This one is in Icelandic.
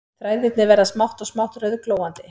Þræðirnir verða smátt og smátt rauðglóandi